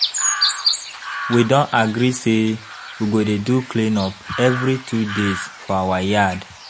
We don agree say we go dey do clean up every two days for our yard.